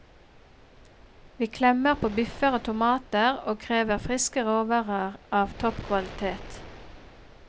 Vi klemmer på biffer og tomater og krever friske råvarer av topp kvalitet.